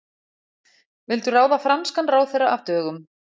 Vildu ráða franskan ráðherra af dögum